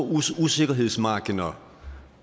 usikkerhedsmarginer